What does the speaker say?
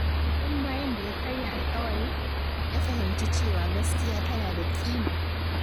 Tun bayan da ya karya alƙawari, ya fahimci cewa gaskiya tana da ƙima.